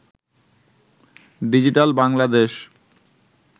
digital Bangladesh